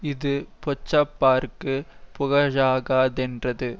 இது பொச்சாப்பார்க்குப் புகழாகாதென்றது